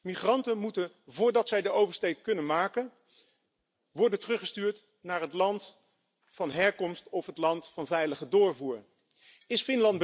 Migranten moeten voordat zij de oversteek kunnen maken, worden teruggestuurd naar het land van herkomst of het veilige land van doorreis.